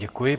Děkuji.